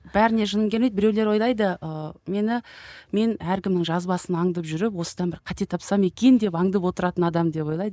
бәріне жыным келмейді біреулер ойлайды ы мені мен әркімнің жазбасын аңдып жүріп осыдан бір қате тапсам екен деп аңдып отыратын адам деп ойлайды